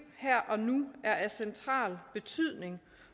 her og nu er af central betydning